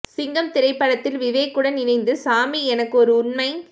சிங்கம் திரைப்படத்தில் விவேக் உடன் இணைந்து சாமி எனக்கு ஒரு உண்மை